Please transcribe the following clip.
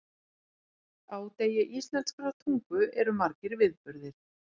Á degi íslenskrar tungu eru margir viðburðir.